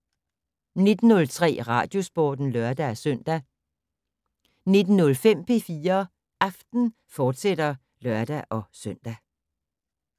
19:03: Radiosporten (lør-søn) 19:05: P4 Aften, fortsat (lør-søn)